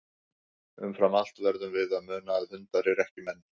Umfram allt verðum við að muna að hundar eru ekki menn.